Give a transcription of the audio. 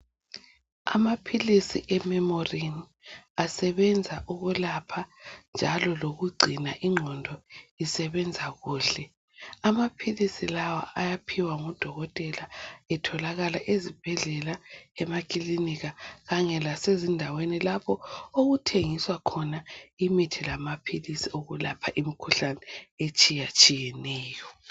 Amaphilizi ememorini asebenza ukulapha njalo loku gcina ingqondo isebenza kuhle. Amaphilisi lawa ayaphiwa ngodokotela etholakala ezibhedlela, emakilika kanye lasezindaweni lapho okuthengiswa khona imithi lamaphilisi okulapha imkhuhlane etshiyatshiyeneyo.